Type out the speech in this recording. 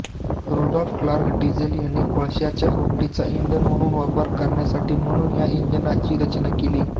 Rudolph Karl Diesel यांनी कोळश्याच्या भुकटीचा इंधन म्हणून वापर करण्यासाठी म्हणून या इंजिनाची रचना केली